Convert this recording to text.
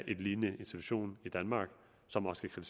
en lignende institution i danmark som også kan